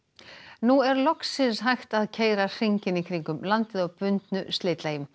nú er loksins hægt að að keyra hringinn í kringum landið á bundnu slitlagi